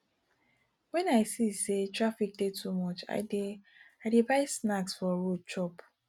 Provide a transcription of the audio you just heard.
wen i see sey traffic dey too much i dey i dey buy snacks for road chop